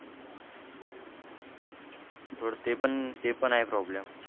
थोडं ते पण ते पण आहे problem.